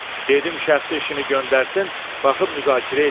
Dedim şəxsi işini göndərsin, baxıb müzakirə eləyərik.